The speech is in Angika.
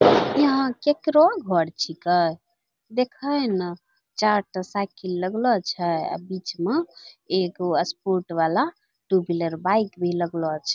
यहाँ केकरो घर छिकै देखैं ना चार टा सायकिल लगलो छै आ बीच मा एगो स्पोर्ट वला टू - व्हिलर बाईक भी लगलो छै।